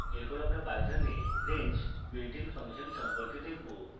এরপর আমরা python we range builtin function সম্পর্কে দেখবো